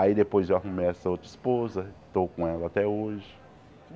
Aí depois eu arrumei essa outra esposa, estou com ela até hoje.